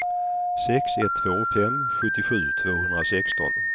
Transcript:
sex ett två fem sjuttiosju tvåhundrasexton